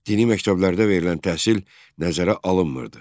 Dini məktəblərdə verilən təhsil nəzərə alınmırdı.